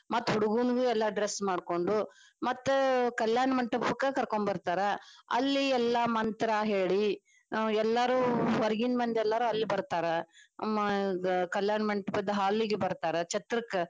ಮತ್ತ ಹುಡುಗನಗ dress ಮಾಡ್ಕೊಂಡು ಮತ್ತ ಕಲ್ಯಾಣ ಮಂಟಪಕ್ಕ ಕರಕೊಂಬರತಾರ ಅಲ್ಲಿ ಎಲ್ಲಾ ಮಂತ್ರ ಹೇಳಿ ನಾವ ಎಲ್ಲಾರು ಹೊರಗಿನ ಮಂದಿ ಎಲ್ಲರು ಅಲ್ಲಿ ಬರ್ತಾರ ಕಲ್ಯಾಣ ಮಂಟಪದ hall ಗ್ ಬರ್ತಾರ ಛತ್ರಕ್ಕ.